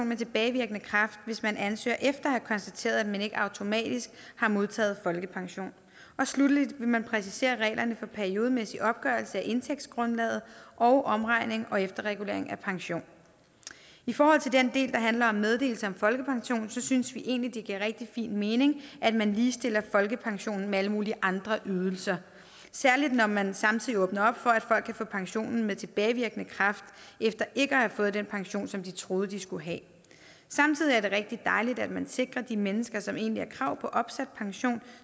med tilbagevirkende kraft hvis man ansøger efter at have konstateret at man ikke automatisk har modtaget folkepension sluttelig vil man præcisere reglerne for periodemæssig opgørelse af indtægtsgrundlaget og omregning og efterregulering af pension i forhold til den del der handler om meddelelse om folkepension synes vi egentlig det giver rigtig fin mening at man ligestiller folkepensionen med alle mulige andre ydelser særlig når man samtidig åbner op for at folk kan få pensionen med tilbagevirkende kraft efter ikke at have fået den pension som de troede at de skulle have samtidig er det rigtig dejligt at man sikrer de mennesker som egentlig har krav på opsat pension